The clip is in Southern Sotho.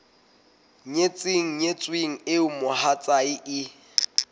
nyetseng nyetsweng eo mohatsae e